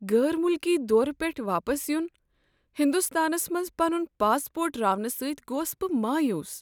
غیر ملکی دورٕ پیٹھہٕ واپس یِن ہندستانس منز پنن پاسپورٹ راونہٕ ستۍ گوس بہٕ مایوٗس۔